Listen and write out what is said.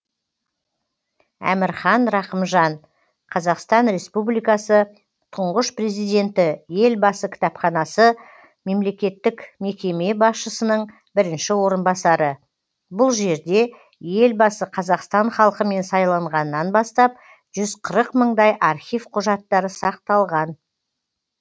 әмірхан рақымжан қазақстан республикасы тұңғыш президенті елбасы кітапханасы мемлекеттік мекеме басшысының бірінші орынбасары бұл жерде елбасы қазақстан халқымен сайланғаннан бастап жүз қырық мыңдай архив құжаттары сақталған